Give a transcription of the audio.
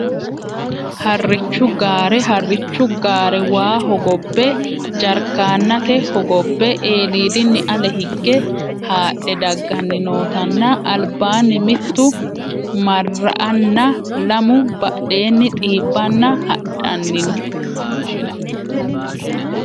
Harichu gaare harichu gaare waa hogobe jarkaanate hogobbe eelidini ale higge haadhe dagani nootanna albaani mittu marra`ana lamu badheeni xiibana hadhanino.